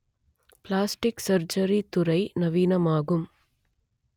plastic surgery துறை நவீனமாகும்